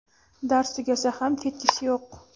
dars tugasa ham ketgisi yo‘q.